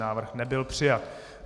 Návrh nebyl přijat.